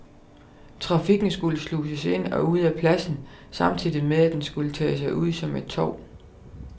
Trafikken skulle sluses ind og ud af pladsen, samtidig med at den skulle tage sig ud som et torv.